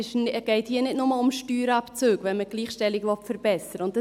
Es geht hier nicht nur um Steuerabzüge, wenn man die Gleichstellung verbessern will.